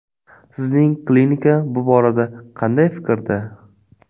Sizning klinika bu borada qanday fikrda?